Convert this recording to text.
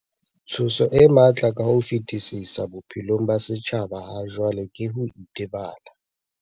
Tshoso e matla ka ho fetisisa bophelong ba setjhaba hajwale ke ho itebala.